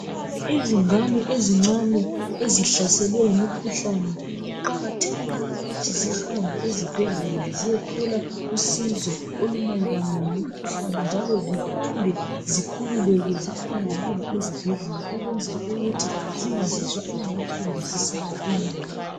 Izingane ezincane ezihlaselwe yimikhuhlani kuqakathekile ukuthi zihambe ezibhedlela ziyethola usizo olumayelana ngemikhuhlane njalo zifunde zikhululeke zikhonangale ezibhedlela ukwenzela ukuthi zingazizwa ingathi kumbe zisalele emuva